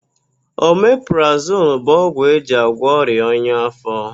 Omeprazonu bụ ogwụ eji agwọ ọrịa ọnya áfó.